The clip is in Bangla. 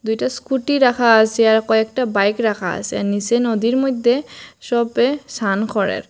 দুইটা স্কুটি রাখা আসে আর কয়েকটা বাইক রাখা আসে আর নীচে নদীর মইধ্যে সবে সান করে।